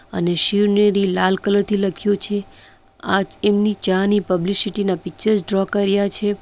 અને શિવનેરી લાલ કલર થી લખ્યું છે આચ એમની ચા ની પબ્લિસિટી ના પિક્ચર ડ્રો કર્યા છે.